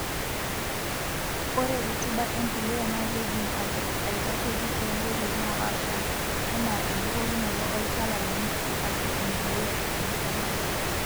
Ore rutuba empuliya naa keidim aitasheiki toonkoitoi napaasha enaa embukokinoto olchala loonkishu ashua empuliya ekemikali.